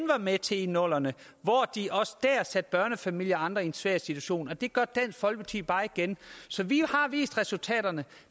var med til i nullerne at sætte børnefamilier og andre i en svær situation og det gør dansk folkeparti bare igen så vi har vist resultaterne